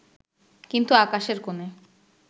কিন্তু আকাশের কোণে